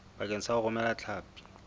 bakeng sa ho romela hlapi